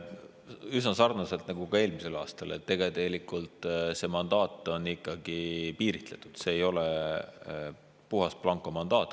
Üsna sarnaselt nagu ka eelmisel aastal: tegelikult see mandaat on ikkagi piiritletud, see ei ole puhas blankomandaat.